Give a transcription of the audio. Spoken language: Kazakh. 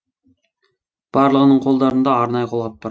барлығының қолдарында арнайы қолғап бар